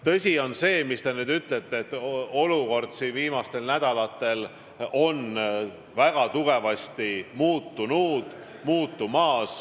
Tõsi on see, nagu te ütlesite, et olukord on viimastel nädalatel väga tugevasti muutunud.